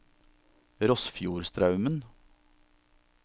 Rossfjordstraumen